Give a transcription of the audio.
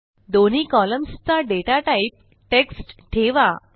दोन्ही कॉलम्सचा data type text ठेवा